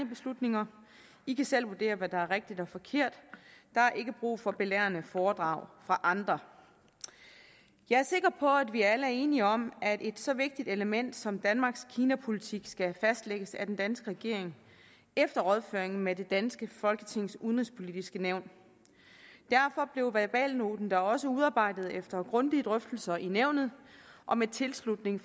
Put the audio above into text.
beslutninger i kan selv vurdere hvad der er rigtigt og forkert der er ikke brug for belærende foredrag fra andre jeg er sikker på at vi alle er enige om at et så vigtigt element som danmarks kinapolitik skal fastlægges af den danske regering efter rådføring med det danske folketings udenrigspolitiske nævn derfor blev verbalnoten da også udarbejdet efter grundige drøftelser i nævnet og med tilslutning